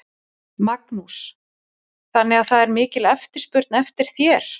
Magnús: Þannig að það er mikil eftirspurn eftir þér?